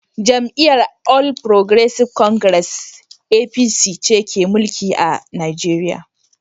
Jam’iyyar All Progressives Congress (APC) ce ke mulki a Nigeriya